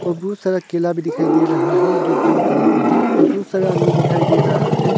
बहुत सारा केला भी दिखाई दे रहा है जो ग्रीन कलर का है और बहुत सारा आदमी दिखाई दे रहा है।